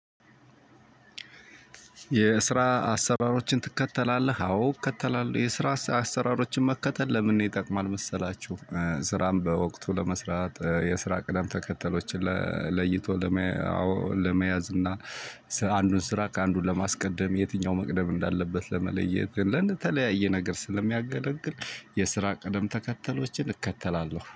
የስራ አሰራሮችን ትከተላለህ? አዎ እከተላለሁ። የስራ አሰራሮችን መከተል ለምን ይጠቅማል መሰላችሁ? ስራን በወቅቱ ለመስራት የስራ ቅደም ተከተሎችን ለይቶ ለመያዝ እና አንዱን ስራ ከአንዱ ለማስቀደም የትኛው መቅደም እንዳለበት ለመለየት ለእንደተለያየ ነገር ስለሚያገለግል። የስራ ቀደም ተከተሎችን እከተላለሁ